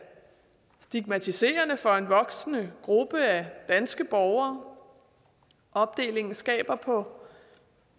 stigmatiserende for en voksende gruppe af danske borgere opdelingen skaber på